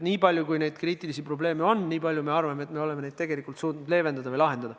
Niipalju kui neid kriitilisi probleeme on olnud, niipalju me arvame, et oleme neid tegelikult suutnud ka leevendada või lahendada.